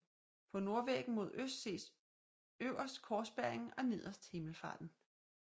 På nordvæggen mod øst ses øverst Korsbæringen og nederst Himmelfarten